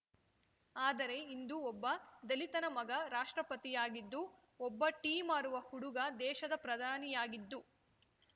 ಆದರೆ ಇಂದು ಒಬ್ಬ ದಲಿತನ ಮಗ ರಾಷ್ಟ್ರಪತಿಯಾಗಿದ್ದು ಒಬ್ಬ ಟೀ ಮಾರುವ ಹುಡುಗ ದೇಶದ ಪ್ರಧಾನಿಯಾಗಿದ್ದು